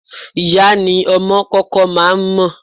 Ìyá ni ọmọ kọ́kọ́ máa ń mọ̀.